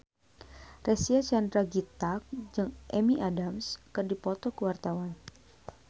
Reysa Chandragitta jeung Amy Adams keur dipoto ku wartawan